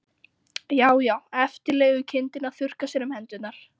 Já, já, eftirlegukindin að þurrka sér um hendurnar!